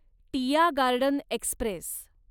Tiya Garden Express